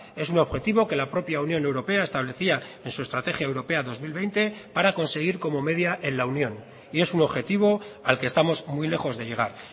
es un objetivo que la propia unión europea establecía en su estrategia europea dos mil veinte para conseguir como media en la unión y es un objetivo al que estamos muy lejos de llegar